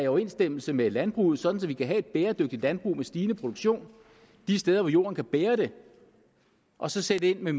overensstemmelse med landbruget sådan at vi kan have et bæredygtigt landbrug med en stigende produktion de steder hvor jorden kan bære det og så sætte ind med